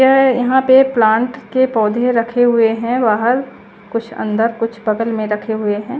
ये यहा पे प्लान्ट के पोधे रखे हुए हे वहाल कुछ अन्दर कुछ बगल में रखे हुए हे।